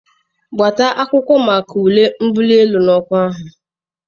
Gbata akwụkwọ maka ule mbuli elu n'ọkwa ahụ!